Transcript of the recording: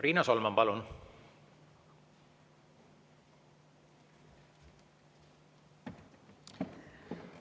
Riina Solman, palun!